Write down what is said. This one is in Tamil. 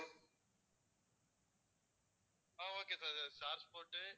ah okay sir Star sports